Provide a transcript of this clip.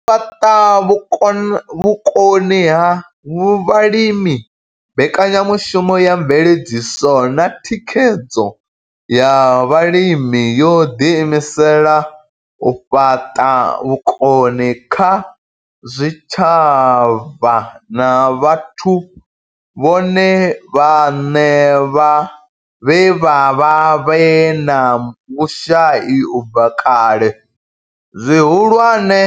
U fhaṱa vhukoni kha vhalimi mbekanyamushumo ya mveledziso na thikhedzo ya vhalimi yo ḓi imisela u fhaṱa vhukoni kha zwitshavha na vhathu vhone vhaṋe vhe vha vha vhe na vhushai u bva kale, zwihulwane,